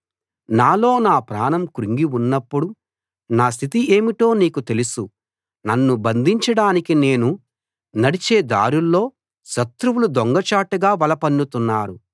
నాలో నా ప్రాణం కృంగి ఉన్నప్పుడు నా స్థితి ఏమిటో నీకు తెలుసు నన్ను బంధించడానికి నేను నడిచే దారుల్లో శత్రువులు దొంగచాటుగా వల పన్నుతున్నారు